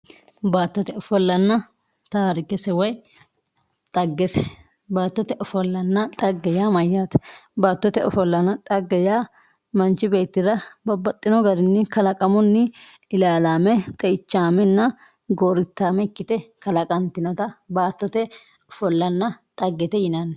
baattote ofollanna taarikese woye dhaggese baattote ofollanna dhagge yaa mayyaate? baattote ofollanna dhagge yaa manchi beettira babbaxxino garinni kalaqamunni ilaalaame xe"ichaamenna gooriittaame ikkite kalaqantinota baattote ofollanna dhaggete yinanni